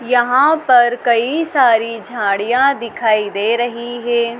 यहां पर कई सारी झाड़ियां दिखाई दे रही है।